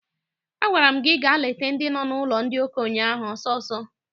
Agwara m gị gaa leta ndị nọ n'ụlọ ndị okenye ahụ ọsọ ọsọ!